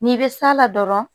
N'i bɛ s'a la dɔrɔn